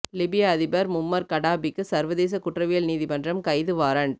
லிபிய அதிபர் மும்மர் கடாபிக்கு சர்வதேச குற்றவியல் நீதிமன்றம் கைது வாரண்ட்